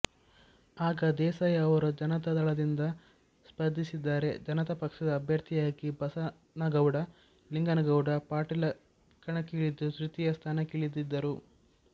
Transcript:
ಆಗ ದೇಸಾಯಿ ಅವರು ಜನತಾ ದಳದಿಂದ ಸ್ಪರ್ಧಿಸಿದ್ದರೆ ಜನತಾ ಪಕ್ಷದ ಅಭ್ಯರ್ಥಿಯಾಗಿ ಬಸನಗೌಡ ಲಿಂಗನಗೌಡ ಪಾಟೀಲ ಕಣಕ್ಕಿಳಿದ್ದು ತೃತೀಯ ಸ್ಥಾನಕ್ಕಿಳಿದಿದ್ದರು